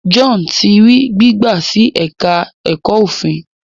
John tí rí gbigba sí èka èko òfin.